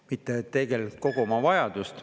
Mitte ….. kogu oma vajadust.